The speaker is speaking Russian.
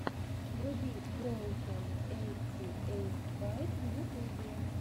вруби броукэн эйти эйт байк в ютубе